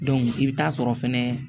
i bɛ taa sɔrɔ fɛnɛ